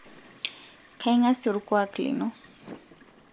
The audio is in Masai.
kaing'asie olkuuak lino